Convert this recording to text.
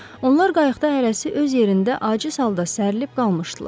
Onlar qayıqda hərəsi öz yerində aciz halda sərilb qalmışdılar.